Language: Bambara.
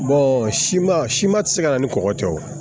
siman siman ti se ka na ni kɔkɔ cɛ ye wo